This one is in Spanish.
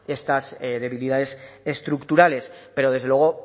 estas debilidades estructurales pero desde luego